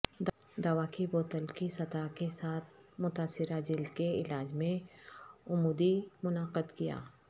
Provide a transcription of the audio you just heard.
دوا کی بوتل کی سطح کے ساتھ متاثرہ جلد کے علاج میں عمودی منعقد کیا